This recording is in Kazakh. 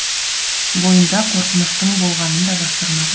бойында қорқыныштың болғанын да жасырмады